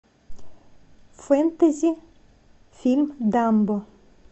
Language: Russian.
фэнтези фильм дамбо